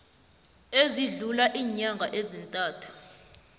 esidlula iinyanga ezintathu